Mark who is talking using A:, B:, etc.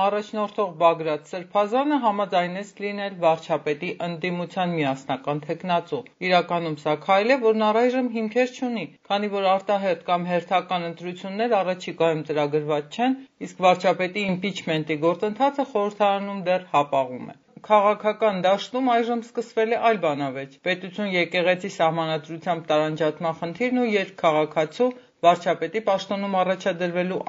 A: առաջնորդող Բագրատ սրբազանը համաձայնեց լինել վարչապետի ընդդիմության միասնական թեկնածու։ Իրականում, սա քայլ է, որն առայժմ հիմքեր չունի, քանի որ արտահերթ կամ հերթական ընտրություններ առաջիկայում ծրագրված չեն, իսկ վարչապետի իմպիչմենտի գործընթացը խորհրդարանում դեռ հապաղում է։ Քաղաքական դաշտում այժմ սկսվել է այլ բանավեճ․ պետություն-եկեղեցի սահմանադրությամբ տարանջատման խնդիրն ու երկքաղաքացու՝ վարչապետի պաշտոնում առաջադրվելու